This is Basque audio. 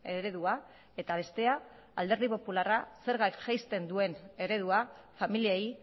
eredua eta bestea alderdi popularra zergak jaisten duen eredua familiei